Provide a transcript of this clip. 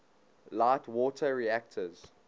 light water reactors